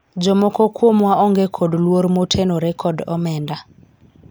jomoko kuomwa onge kod luor motenore kod omenda